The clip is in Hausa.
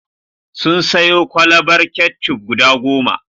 Sun sayo kwalabar ketchup guda goma.